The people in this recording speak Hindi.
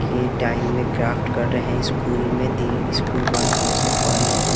के टाइम में क्राफ्ट कर रहें हैं स्कूल में दी स्कूल बंद होने से पहले।